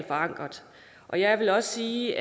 forankret og jeg vil også sige